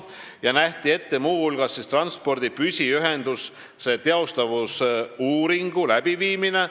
Seal nähti muu hulgas ette transpordi püsiühenduse teostatavusuuringu läbiviimine.